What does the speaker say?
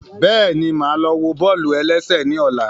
Bẹ́ẹ̀ni, máa lọ wo bọ́ọ̀lù-ẹlẹ́sẹ̀ ní ọ̀la